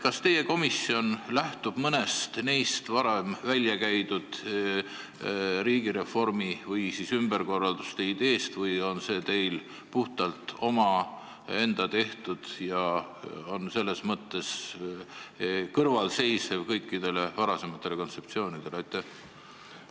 Kas teie komisjon lähtub mõnest neist varem väljakäidud riigireformi või ümberkorralduse ideest või on see teil puhtalt enda tehtud ja on selles mõttes kõikidest varasematest kontseptsioonidest eraldi seisev?